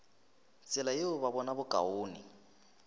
tsela yeo ba bona bokaone